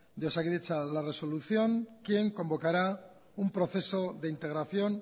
de osakidetza la resolución quien convocará un proceso de integración